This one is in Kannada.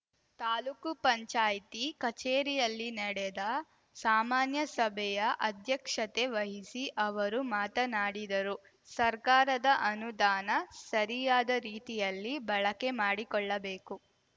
ತಾಲೂಕು ಪಂಚಾಯ್ತಿ ಕಚೇರಿಯಲ್ಲಿ ನೆಡೆದ ಸಾಮಾನ್ಯಸಭೆಯ ಅಧ್ಯಕ್ಷತೆ ವಹಿಸಿ ಅವರು ಮಾತನಾಡಿದರು ಸರ್ಕಾರದ ಅನುದಾನ ಸರಿಯಾದ ರೀತಿಯಲ್ಲಿ ಬಳಕೆ ಮಾಡಿಕೊಳ್ಳಬೇಕು